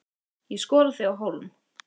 Ég skora þig á hólm.